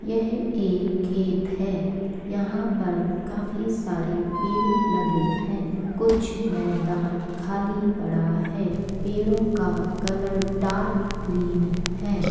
यह एक खेत है | यहाँ पर काफी सारे पेड़ लगे हैं | कुछ मैदान खाली पड़ा है | पेड़ो का कलर डार्क ग्रीन है।